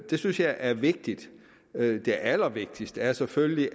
det synes jeg er vigtigt det allervigtigste er selvfølgelig